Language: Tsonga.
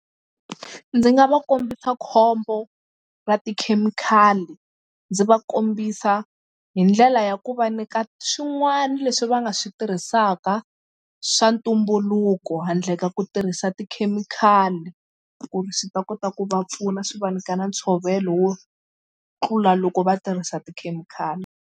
Ndzi nga va kombisa khombo ra tikhemikhali ndzi va kombisa hi ndlela ya ku va nyika swin'wana leswi va nga swi tirhisaka swa ntumbuluko handle ka ku tirhisa tikhemikhali ku ri swi ta kota ku va pfuna swi va nyika na ntshovelo wo tlula loko va tirhisa tikhemikhali.